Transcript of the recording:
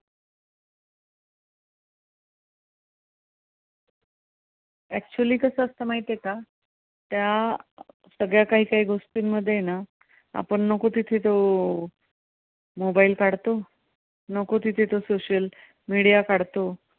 Actually कसं असतं माहिती आहे का? त्या सगळ्या कांही कांही गोष्टींमध्ये ना आपण नको तिथे तो mobile काढतो, नको तिथे तो social media काढतो.